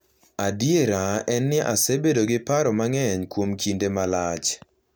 Adiera en ni asebedo gi paro mang’eny kuom kinde malach